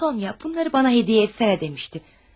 Sonya, bunları mənə hədiyyə etsənə demişdi.